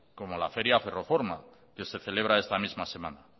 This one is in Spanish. como la feria ferroforma que se celebra esta misma semana